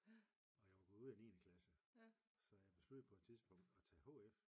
Og jeg var gået ud af niende klasse så jeg besluttede på et tidspunkt at tage HF